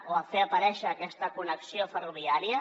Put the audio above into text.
o farem aparèixer aquesta connexió ferroviària